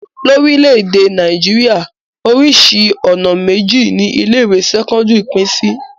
Lórílẹ̀-èdè Nàìjíríà, oríṣi ọ̀nà méjì ni ilé-ìwé sẹ́kọ́ndárì pín sí.